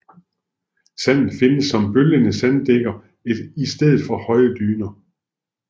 Sandet findes som bølgende sanddækker i stedet for høje dyner